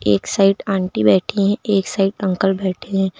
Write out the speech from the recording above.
एक side aunty बैठी है एक साइड अंकल बैठे हैं।